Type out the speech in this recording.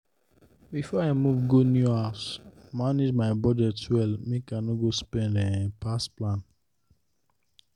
before i move go new house i manage my budget well make i no go spend um pass plan.